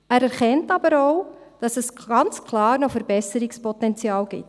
Er erkennt aber auch, dass es ganz klar noch Verbesserungspotenzial gibt.